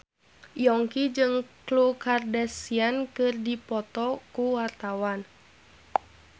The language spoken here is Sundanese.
Yongki jeung Khloe Kardashian keur dipoto ku wartawan